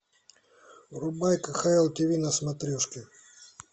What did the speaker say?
врубай кхл тв на смотрешке